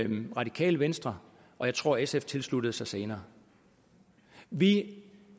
og radikale venstre og jeg tror at sf tilsluttede sig senere vi